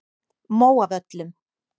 Móavöllum